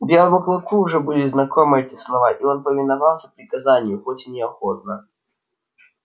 белому клыку уже были знакомы эти слова и он повиновался приказанию хоть и неохотно